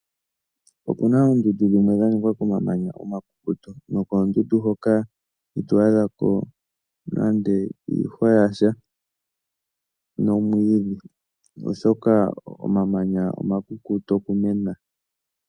Opu na oondundu dhimwe dha ningwa komamanya omakukutu, nokoondundu hoka ito adhako nande iihwa yasha nomwiidhi oshoka omamanya omakukutu okumena.